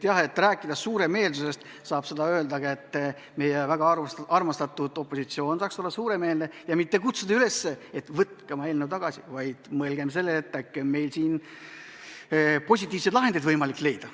Jah, rääkides suuremeelsusest, saab öelda ka, et meie väga armastatud opositsioon saaks olla suuremeelne, mitte kutsuda üles, et võtke oma eelnõu tagasi, vaid võiks mõelda sellele, et äkki on siin positiivseid lahendeid võimalik leida.